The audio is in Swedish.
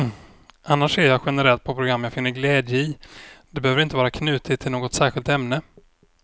Annars ser jag generellt på program jag finner glädje i, det behöver inte vara knutet till något särskilt ämne.